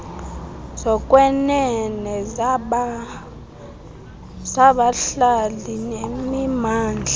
zokwenene zabahlali nemimandla